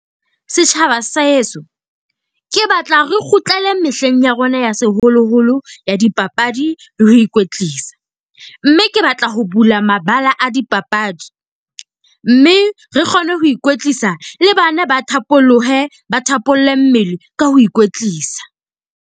Setjhaba sa heso, ke batla re kgutlele mehleng ya rona ya seholoholo ya dipapadi le ho ikwetlisa. Mme ke batla ho bula mabala a dipapadi, mme re kgone ho ikwetlisa le bana ba thapolohe ba thapolle mmele ka ho ikwetlisa.